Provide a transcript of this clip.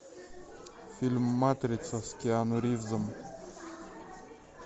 фильм матрица с киану ривзом